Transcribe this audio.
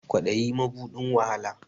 Kwadayi mabuɗin wahala